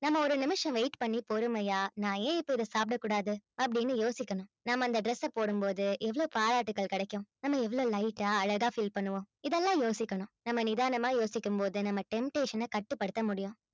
நம்ம ஒரு நிமிஷம் wait பண்ணி பொறுமையா நான் ஏன் இப்ப இதை சாப்பிடக் கூடாது அப்படின்னு யோசிக்கணும் நம்ம அந்த dress அ போடும் போது எவ்வளவு பாராட்டுக்கள் கிடைக்கும் நம்ம எவ்வளவு light ஆ அழகா feel பண்ணுவோம் இதெல்லாம் யோசிக்கணும் நம்ம நிதானமா யோசிக்கும் போது நம்ம temptation அ கட்டுப்படுத்த முடியும்